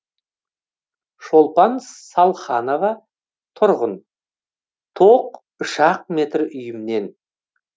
шолпан салханова тұрғын тоқ үш ақ метр үйімнен